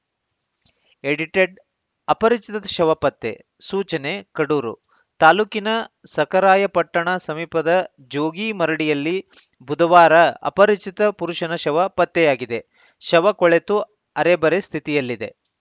edited ಅಪರಿಚಿತ ಶ್ ಶವ ಪತ್ತೆ ಸೂಚನೆ ಕಡೂರು ತಾಲೂಕಿನ ಸಖರಾಯಪಟ್ಟಣ ಸಮೀಪದ ಜೋಗಿ ಮರಡಿಯಲ್ಲಿ ಬುಧವಾರ ಅಪರಿಚಿತ ಪುರುಷನ ಶವ ಪತ್ತೆಯಾಗಿದೆ ಶವ ಕೊಳೆತು ಅರೆಬರೆ ಸ್ಥಿತಿಯಲ್ಲಿದೆ